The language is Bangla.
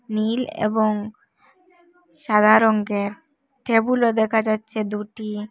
নীল এবং সাদা রঙের টেবিলও দেখা যাচ্ছে দুটি।